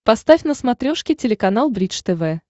поставь на смотрешке телеканал бридж тв